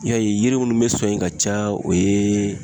Ni y'a ye yiri munnu be sɔn yen ka caya o ye